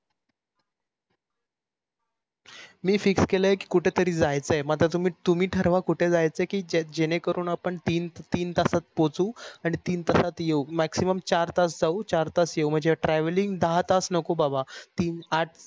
मी fix केल कुठेतरी जायचे मग तुम्ही तुम्ही ठरवा कोठे जायचे कि जेनेकारी तीन तास पोहचू आणि तीन तासात येवू maximum चार तासात जावू चार तासात येवू म्हणज travelling द हा तास नको बाबा तीन आठ